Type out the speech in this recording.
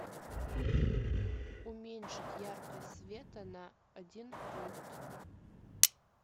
уменьшить яркость света на один пункт